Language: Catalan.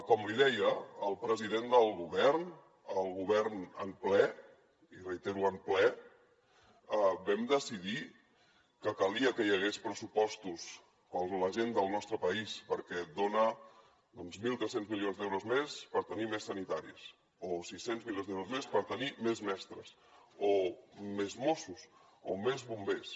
com li deia el president del govern el govern en ple i reitero en ple vam decidir que calia que hi hagués pressupostos per a la gent del nostre país perquè dona doncs mil tres cents milions d’euros més per tenir més sanitaris o sis cents milions d’euros més per tenir més mestres o més mossos o més bombers